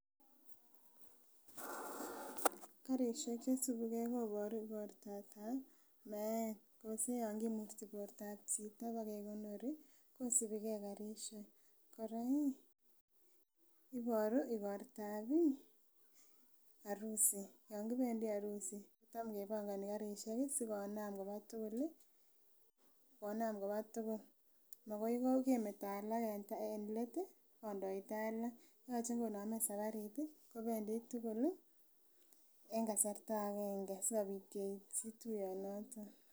Karishek chesibigee koboru igortab meet yose yon kimuti bortab chito bokekonori kosibigee karishek, Koraa iih iboru igortab arusi yon kopendii arusi tam kepongoni karishek kii sikonam koba tukul lii konam konam koba tukul, makoi kemeto alak en let tii kondoita alak yoche konome safarit tii kobendii tukuk en kasarta agenge sikopit keityi tuyonoton.